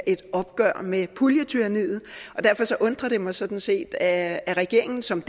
et opgør med puljetyranniet og derfor undrer det mig sådan set at regeringen som